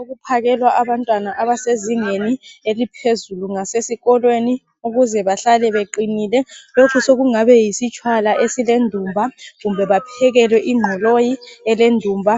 ukuphakelwa abantwana abasezingeni eliphezulu gasesikolwei ukuze bahlale beqinile lokho sokugaba yisitshwala esilendumba kumbe baphekwelwe inqoloyi elendumba